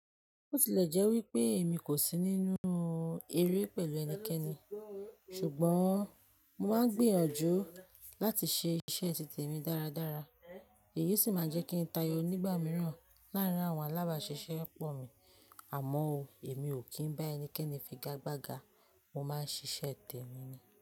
Ó ti lè jẹ́ wípé èmi kò sí nínú eré pẹ̀lú ẹnikẹ́ni, ṣùgbọ́n mo máa ń gbìyànjú láti ṣe iṣẹ́ titèmi dáradára. Èyí sì máa jẹ́ kí n tayọ nígbà mìíràn láàrín àwọn alábàáṣiṣẹ́ pọ̀ mi. Àmọ́ o, èmi ò kí ń bá ẹnikẹ́ni figagbága, mo máa ń ṣiṣẹ́ tèmi ni.